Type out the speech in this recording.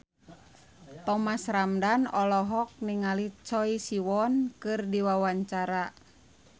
Thomas Ramdhan olohok ningali Choi Siwon keur diwawancara